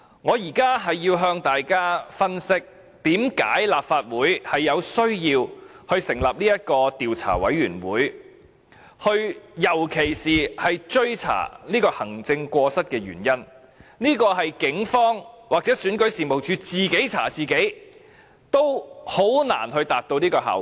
我現在要向大家分析，為甚麼立法會需要成立專責委員會，尤其是追查行政過失，這是警方或選舉事務處自己查自己，均難以達到的效果。